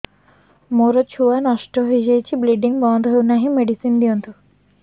ମୋର ଛୁଆ ନଷ୍ଟ ହୋଇଯାଇଛି ବ୍ଲିଡ଼ିଙ୍ଗ ବନ୍ଦ ହଉନାହିଁ ମେଡିସିନ ଦିଅନ୍ତୁ